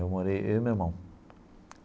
Eu morei eu e meu irmão.